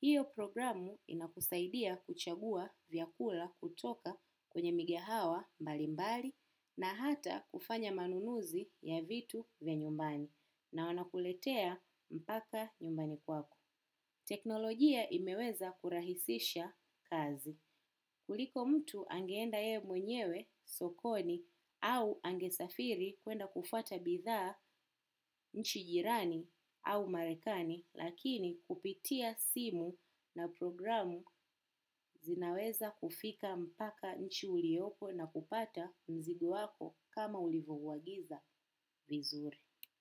Hiyo programu inakusaidia kuchagua vyakula kutoka kwenye migahawa mbali mbali na hata kufanya manunuzi ya vitu vya nyumbani na wanakuletea mpaka nyumbani kwako. Teknolojia imeweza kurahisisha kazi. Kuliko mtu angeenda yeye mwenyewe, sokoni, au angesafiri kwenda kufuata bidhaa. Nchi jirani au marekani, lakini kupitia simu na programu zinaweza kufika mpaka nchi uliyoko na kupata mzigo wako kama ulivyouagiz vizuri.